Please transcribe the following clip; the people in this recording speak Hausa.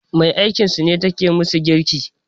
Me aikinsu ce take musu girki